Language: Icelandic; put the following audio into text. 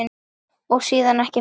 Og síðan ekki meir?